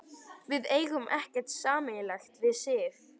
Við eigum ekkert sameiginlegt við Sif.